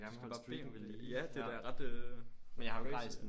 Du skal bare bede om det ja det er da ret øh crazy